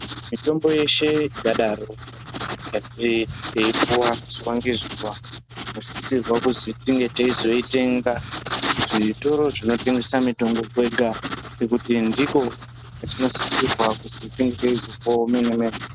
Mitombo yeshe ingadaro yeipuva zuva nezuva tinosisirwa kuzi tinge teyiitenga muzvitoro zvinotengesa mikuhlani kwega nekuti ndiko kwetinosisirwa kuti tinga teitenga.